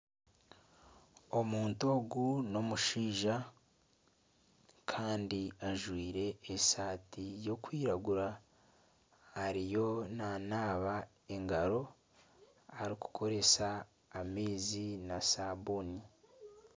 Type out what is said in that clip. omuntu ogu n'omushaija kandi ajwaire esaati y'okwiragura. Ariyo nanaaba engaro arikukoresa amaizi na sabuuni.